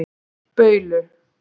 Baulu